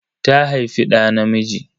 Ta haifi ɗa namiji.